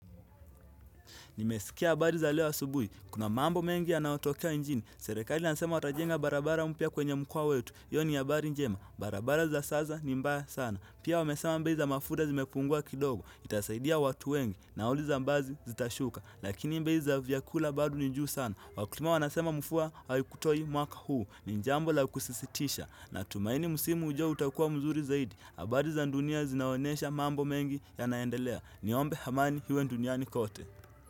Nimesikia habari za leo asubuhi, kuna mambo mengi yanayotokea nchini Serikali inasema watajenga barabara mpya kwenye mkoa wetu hiyo ni habari njema, barabara za saza ni mbaya sana Pia wamesema bei za mafuta zimepungua kidogo Itasaidia watu wengi, nauli za basi zitashuka Lakini bei za vyakula bado ni juu sana Wakulima wanasema mvua, haikutoi mwaka huu ni jambo la kusisitisha Natumaini msimu ujao utakua mzuri zaidi habari za dunia zinaonesha mambo mengi yanaendelea Niombe amani iwe duniani kote.